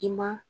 I ma